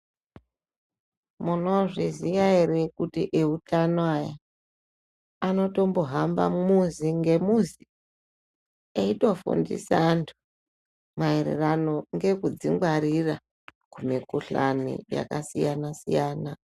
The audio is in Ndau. Munozviziva ere kuti ehutano avo anotombohamba muzi ngemuzi Eitofundisa antu maererano nekudzingwarira mikuhlani yakasiyana siyana.